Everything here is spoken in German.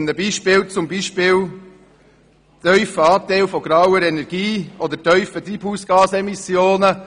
Ich nenne als Beispiele tiefe Anteile an grauer Energie oder tiefe Treibhausgasemissionen.